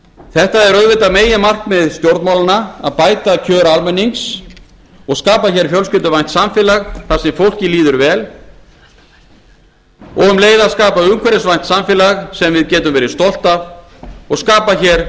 þetta er auðvitað meginmarkmið stjórnmálanna að bæta kjör almennings og skapa hér fjölskylduvænt samfélag þar sem fólki líður vel og um leið að skapa umhverfisvænt samfélag sem við getum verið stolt af og skapa hér